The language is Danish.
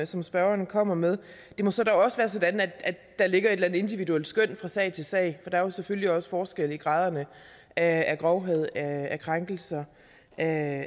som spørgeren kommer med det må så også være sådan at der ligger et eller andet individuelt skøn fra sag til sag der er selvfølgelig også forskel i graderne af grovhed af krænkelser af